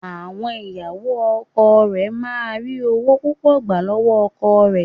Àwọn ìyàwó ọkọ rẹ̀ máà ń ri ọwọ́ púpọ̀ gbà lọ́wọ́ ọkọ rẹ̀.